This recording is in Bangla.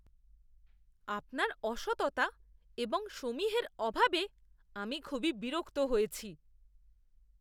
আপনার অসততা এবং সমীহের অভাবে আমি খুবই বিরক্ত হয়েছি।